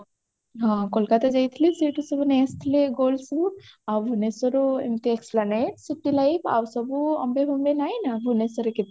ହଁ କୋଲକାତା ଯାଇଥିଲେ ସେଇଠୁ ସବୁ ନେଇ ଆସିଥିଲେ gold ସବୁ ଆଉ ଭୁବନେଶ୍ବର ରୁ ଏମିତି esplanade city life ଆଉ ସବୁ ଅମ୍ବେ ଫମ୍ବେ ନଇ ନା ଭୁବନେଶ୍ବରରେ